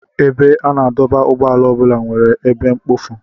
Ebe a na-adọba ụgbọala ọ bụla nwere ebe mkpofu.